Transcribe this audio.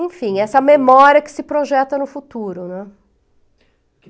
Enfim, essa memória que se projeta no futuro, né.